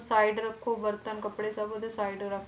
Side ਰੱਖੋ ਬਰਤਨ ਕੱਪੜੇ ਸਭ ਉਹਦੇ side ਰੱਖ,